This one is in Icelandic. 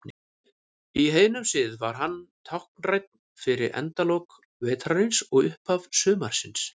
Í heiðnum sið var hann táknrænn fyrir endalok vetrarins og upphaf sumarsins.